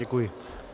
Děkuji.